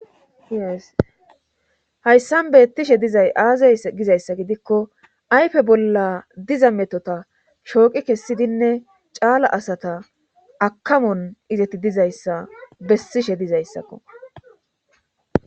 Haqq1qq1qyssan beettishe dizay aazay gizayssa gidikko aype bolla diza metota shooqi kessidinne caala asata akamon izetti dizayssa bessishe dizayssakko